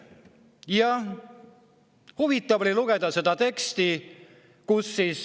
Ja huvitav oli lugeda seda teksti.